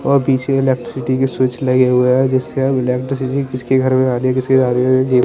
और पीछे इलेक्ट्रिसिटी की स्विच लगे हुए हैं जिससे इलेक्ट्रिसिटी किसके घर में आ रही किसके जा रही--